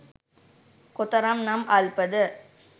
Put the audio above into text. කොතරම් නම් අල්පද?